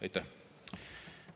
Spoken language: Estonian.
Aitäh!